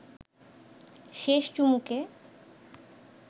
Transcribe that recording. শেষ চুমুকে